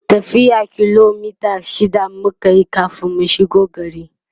tafiyan kilomita shida mukayi kamin mu shigo gari